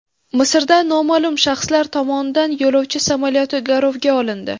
Misrda noma’lum shaxslar tomonidan yo‘lovchi samolyoti garovga olindi.